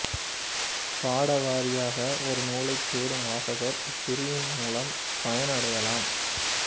பாடவாரியாக ஒரு நூலைத் தேடும் வாசகர் இப்பரிவின் மூலம் பயனடையலாம்